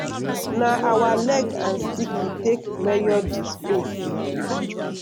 na our leg and stick we take measure di space.